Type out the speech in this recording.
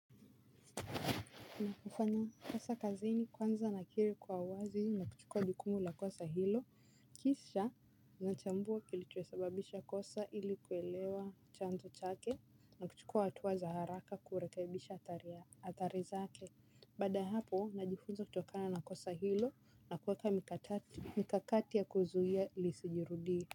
Nakufanya kosa kazini kwanza nakiri kwa uwazi na kuchukua jukumu la kosa hilo kisha nachambua kilicho sababisha kosa ili kuelewa chanzo chake na kuchukua hatua za haraka kurekebisha athari zake. Baada ya hapo najifunza kutokana na kosa hilo na kuweka mikakati ya kuzuia lisijirudie.